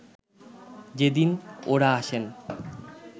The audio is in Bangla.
যেদিন ও’রা আসেন